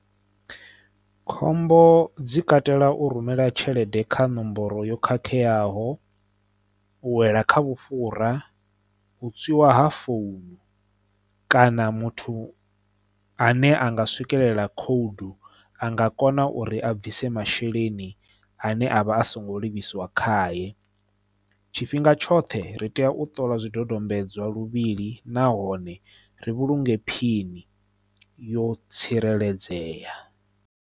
Khombo dzi katela u rumela tshelede kha nomboro yo khakheaho u wela kha vhufhura u tswiwa ha founu kana muthu ane anga swikelela code anga kona uri a bvise masheleni ane avha a songo livhiswa khaye tshifhinga tshoṱhe ri tea u ṱola zwidodombedzwa luvhili nahone ri vhulunge phini yo tsireledzea.